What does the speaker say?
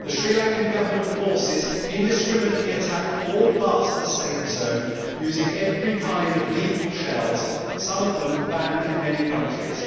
The Sri Lankan Government forces indiscriminately attacked all parts of the safe zone' using every kind of lethal shells, some of them banned in many countries.